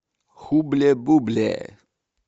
хубле бубле